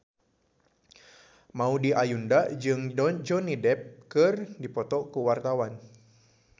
Maudy Ayunda jeung Johnny Depp keur dipoto ku wartawan